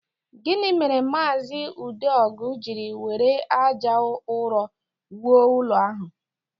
Gịnị mere maazị Udeogu jiri were ájá ụrọ wuo ụlọ ahụ?